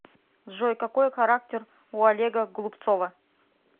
джой какой характер у олега голубцова